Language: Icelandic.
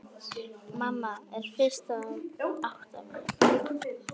Mamma er fyrst að átta sig: